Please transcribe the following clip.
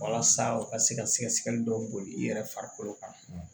Walasa u ka se ka sɛgɛsɛgɛli dɔw boli i yɛrɛ farikolo kan